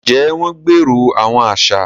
Njẹ wọn gbèrò awọn aṣa?